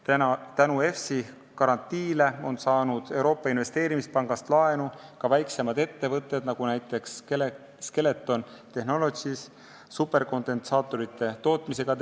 Tänu EFSI garantiile on Euroopa Investeerimispangast laenu saanud ka väiksemad ettevõtjad, nagu näiteks Skeleton Technologies, mis tegeleb superkondensaatorite tootmisega.